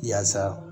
Yaasa